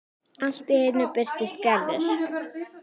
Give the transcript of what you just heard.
Allt í einu birtist Gerður.